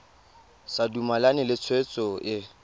sa dumalane le tshwetso e